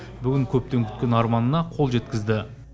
бүгін көптен күткен арманына қол жеткізді